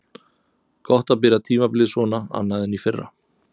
Gott að byrja tímabilið svona annað en í fyrra.